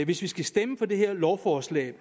hvis vi skal stemme for det her lovforslag